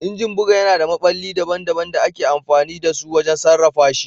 Injin buga yana da maɓalli daban-daban da ake amfani da su wajen sarrafa shi.